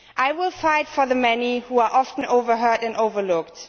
I would fight for the many who are often overheard and overlooked.